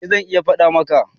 eh zan iya fada maka